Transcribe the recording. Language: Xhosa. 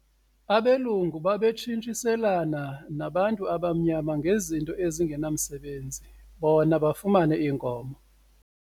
Abelungu babetshintshiselana nabantu abamnyama ngezinto ezingenamsebenzi bona bafumane iinkomo.